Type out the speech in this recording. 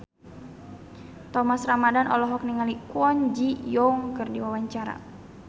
Thomas Ramdhan olohok ningali Kwon Ji Yong keur diwawancara